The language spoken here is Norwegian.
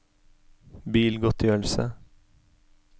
bilgodtgjørelse